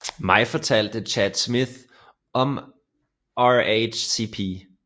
Maj fortalte Chad Smith om RHCP